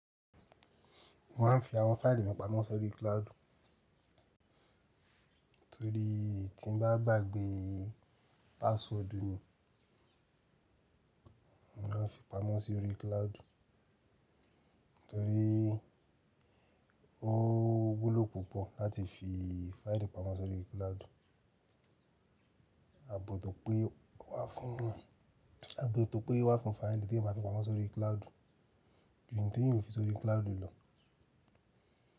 Mo ma ń fi àwọn fáìlì mi pamọ́ sórí cloud, torí tí mo bá gbàgbé password mi, mo máa fi pamọ́ sórí cloud. Torí ó wúlò púpọ̀ láti fi fáìlì pamọ́ sórí cloud, àbọ̀ tó pé wà fún, àbọ̀ tó pé wà fún fáìlì tí mo fi pamọ́ sórí cloud, ju ǹ tí yóò fi sórí cloud lọ.